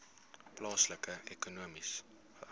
plaaslike ekonomiese